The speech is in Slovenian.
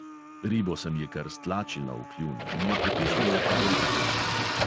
Ribo sem ji kar stlačila v kljun in jo potisnila po goltancu.